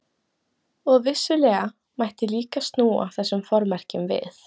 Og vissulega mætti líka snúa þessum formerkjum við.